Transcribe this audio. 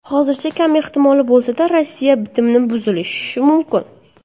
Hozircha kam ehtimolli bo‘lsa-da, Rossiya bitimni buzishi mumkin.